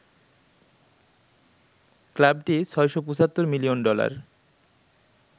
ক্লাবটি ৬৭৫ million dollar